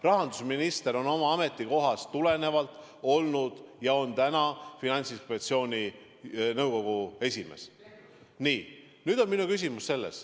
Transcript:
Rahandusminister on oma ametikohast tulenevalt olnud ja on ka täna Finantsinspektsiooni nõukogu esimees.